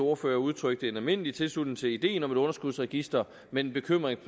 ordfører udtrykte en almindelig tilslutning til ideen om et underskudsregister men en bekymring